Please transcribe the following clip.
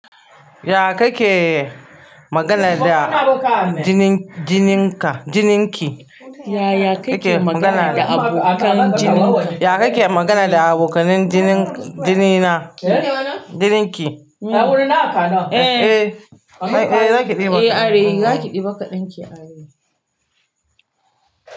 Ya kake magana da jinin-jininka-jininki? Yake magana da abokan jininka. Ya kake magana da abokanin jinin-jinina? Jininki. Eh. Eh, zaki ɗiba kaɗan. Eh Are, zaki ɗiba kaɗan ki Are.